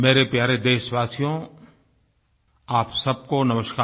मेरे प्यारे देशवासियो आप सबको नमस्कार